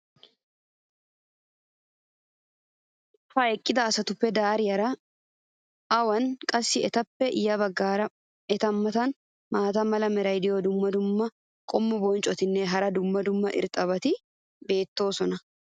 ha eqqida asatuppe dariyaara awunii? qassi etappe ya bagaara eta matan ay mala meray diyo dumma dumma qommo bonccotinne hara dumma dumma irxxabati beetiyoonaa?